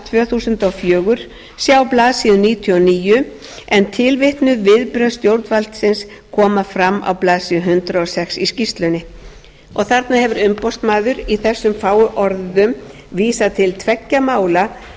tvö þúsund og fjögur sjá blaðsíður níutíu og níu en tilvitnuð viðbrögð stjórnvaldsins koma fram á blaðsíðu hundrað og sex í skýrslunni þarna hefur umboðsmaður í þessum fáu orðum vísað til tveggja mála þar